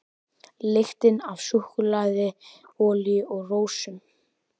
Lyktin af súkkulaði, olíu og rósum.